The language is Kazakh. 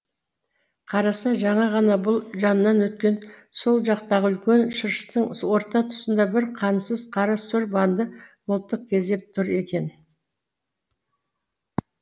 қараса жаңа ғана бұл жанынан өткен сол жақтағы үлкен шырыштың орта тұсында бір қансыз қара сұр банды мылтық кезеп тұр екен